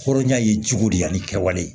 Hɔrɔnya ye cogo di yan ni kɛwale